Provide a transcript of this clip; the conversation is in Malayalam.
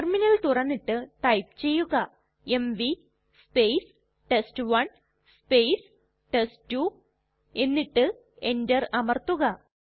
ടെർമിനൽ തുറന്നിട്ട് ടൈപ്പ് ചെയ്യുക എംവി ടെസ്റ്റ്1 ടെസ്റ്റ്2 എന്നിട്ട് enter അമർത്തുക